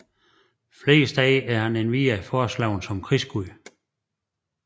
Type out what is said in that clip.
Flere steder er han endvidere foreslået som krigsgud